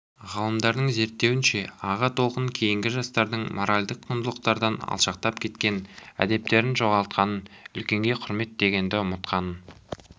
ғалымдардың зерттеуінше аға толқын кейінгі жастардың моральдық құндылықтардан алшақтап кеткенін әдептерін жоғалтқанын үлкенге құрмет дегенді ұмытқанын